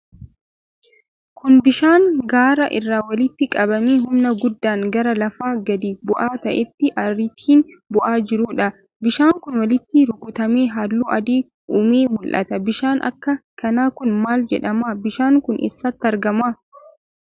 Kun, bishaan gaara irraa walitti qabamee humna guddaan gara lafa gadi bu'aa ta'etti ariitiin bu'aa jiruu dha. Bishaan kun, walitti rukutamee haalluu adii uumee mul'ata. Bishaan akka kanaa kun, maal jedhama? Bishaan kun, eessatti argama?